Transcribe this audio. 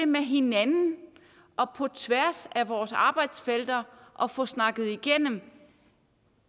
med hinanden og på tværs af vores arbejdsfelter at få snakket igennem